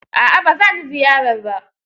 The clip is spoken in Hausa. A'a ba za ni ziyarar ba.